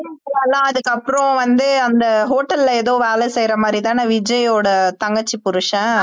அதுக்கப்புறம் வந்து அந்த hotel ல ஏதோ வேலை செய்யற மாரி தான விஜய்யோட தங்கச்சி புருஷன்